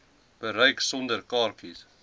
bereik sonder kaartjies